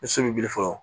Ni so bɛ biri fɔlɔ